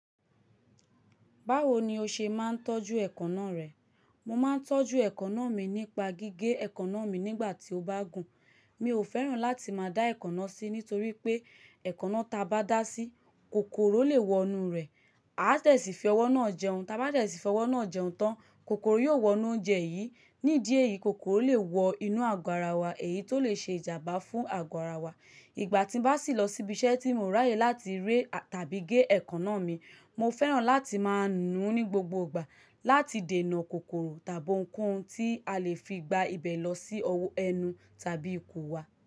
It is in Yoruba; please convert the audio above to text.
Báwo ni o ṣe máa ń tọ́jú èékánná rẹ? Mo máa ń tọ́jú èékánná mi nípa gígé èékánná mi nígbà tí ó bá gùn. Mi ò fẹ́ràn láti máa dá èékánná sí nítorí pé èékánná ta bá dà sí, kòkòrò lè wọ inú rẹ̀ á dẹ̀sífi owó náà jẹun. Ta bá dẹ̀sífi owó náà jẹun tán, kòkòrò yóò wọ inú oúnjẹ yìí. Nídí ẹ̀yìí, kòkòrò lè wọ inú àgọ́ ara wa, èyí tó lè ṣe ìjàmbá fún àgọ́ ara wa. Ìgbà tí bá sì lọ síbí iṣẹ́ tí mo ráyè láti ré tàbí gé èékánná mi, mo fẹ́ràn láti máa nù ú ní gbogbo ìgbà láti dènà kòkòrò tàbí ohunkóhun tí a lè fi gba ibẹ̀ lọ sí ẹnu tàbí ikùn wa.